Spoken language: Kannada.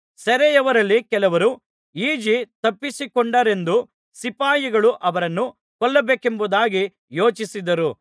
ಸೆರೆಯವರಲ್ಲಿ ಕೆಲವರು ಈಜಿ ತಪ್ಪಿಸಿಕೊಂಡಾರೆಂದು ಸಿಪಾಯಿಗಳು ಅವರನ್ನು ಕೊಲ್ಲಬೇಕೆಂಬುದಾಗಿ ಯೋಚಿಸಿದರು